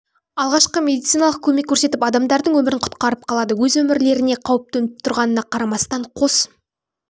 алғашқы медициналық көмек көрсетіп адамдардың өмірін құтқарып қалады өз өмірлеріне қауіп төніп тұрғанына қарамастан қос